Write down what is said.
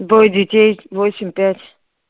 двое детей восемь пять